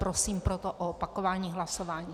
Prosím proto o opakování hlasování.